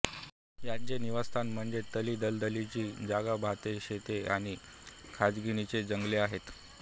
याचे निवासस्थान म्हणजे तळीदलदलीची जागाभातशेते आणि खजणीची जंगले आहेत